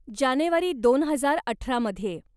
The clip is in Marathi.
जानेवारी दोन हजार अठरा मध्ये.